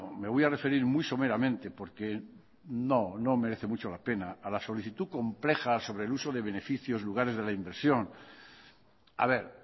me voy a referir muy someramente porque no merece mucho la pena a la solicitud compleja sobre el uso de beneficios lugares de la inversión a ver